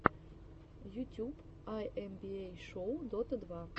ютюб айэмбиэй шоу дота два